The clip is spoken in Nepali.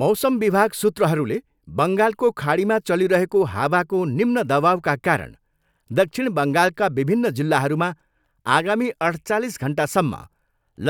मौसम विभाग सूत्रहरूले बङ्गालको खाडीमा चलिरहेको हावाको निम्न दवाउका कारण दक्षिण बङ्गालका विभिन्न जिल्लाहरूमा आगामी अठ्चालिस घन्टासम्म